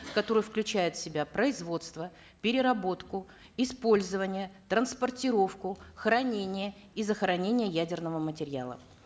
которые включают в себя производство переработку использоваие транспортировку хранение и захоронение ядерного материала